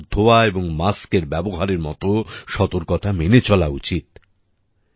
আমাদের হাত ধোয়া এবং মাস্ক এর ব্যবহারের মতো সতর্কতা মেনে চলা উচিত